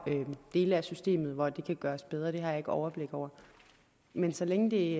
dele af systemet hvor det kan gøres bedre det har jeg ikke overblik over men så længe det